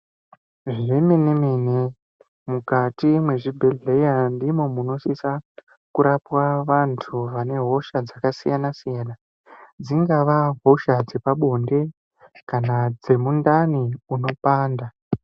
Zvemene mene mukati mwezvibhedhleya ndimwo munosisa kurapwa vantu vane hosha dzakasiyana siyana dzingava hosha dzepabonde kana dzemundani munopanda.